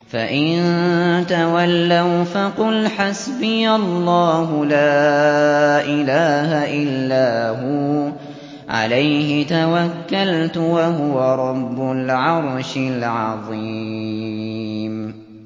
فَإِن تَوَلَّوْا فَقُلْ حَسْبِيَ اللَّهُ لَا إِلَٰهَ إِلَّا هُوَ ۖ عَلَيْهِ تَوَكَّلْتُ ۖ وَهُوَ رَبُّ الْعَرْشِ الْعَظِيمِ